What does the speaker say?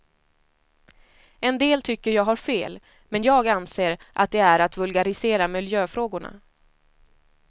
En del tycker jag har fel, men jag anser att det är att vulgarisera miljöfrågorna.